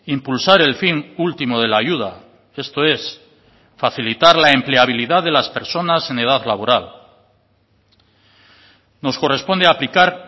impulsar el fin último de la ayuda esto es facilitar la empleabilidad de las personas en edad laboral nos corresponde aplicar